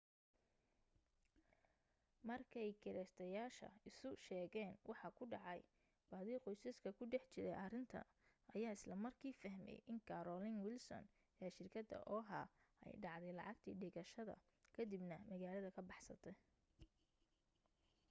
markay kireysteyaasha isu sheegeen waxa ku dhacay badi qoysaska ku dhex jiray arrinta ayaa isla markii fahmay in carolyn wilson ee shirkadda oha ay dhacday lacagtii dhigashada ka dib na magaalada ka baxsatay